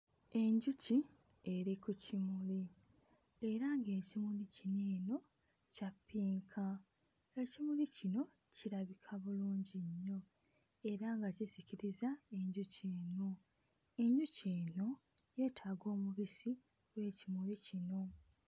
Enjuki eri ku kimuli era ng'ekimuli kino eno kya ppinka. Ekimuli kino kirabika bulungi nnyo era nga kisikiriza enjuki eno. Enjuki eno yeetaaga omubisi gw'ekimuli kino.